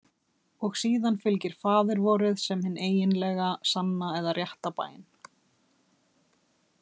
Og síðan fylgir Faðir vorið sem hin eiginlega, sanna eða rétta bæn.